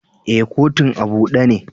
Eh, kotun a bude ne.